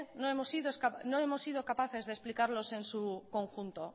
no hemos sido capaces de explicarlos en su conjunto